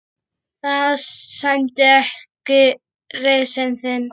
Það sæmdi ekki reisn þinni.